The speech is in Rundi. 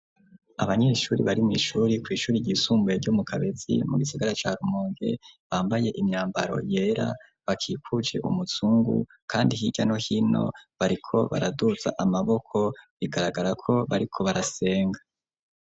Abanyeshuri bari mw'ishuri kw'ishuri ryisumbuye ryo mu Kabezi mu gisigara ca rumonge, bambaye imyambaro yera bakikuje umuzungu, kandi hirya no hino bariko baraduza amaboko bigaragara ko bariko barasenga.